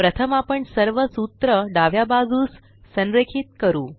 प्रथम आपण सर्व सूत्र डाव्या बाजूस संरेखित करू